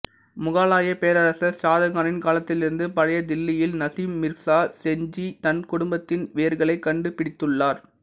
முகலாய பேரரசர் ஷாஜகானின் காலத்திலிருந்து பழைய தில்லியில் நசீம் மிர்சா சேஞ்ச்சி தனது குடும்பத்தின் வேர்களைக் கண்டுபிடித்துள்ளார்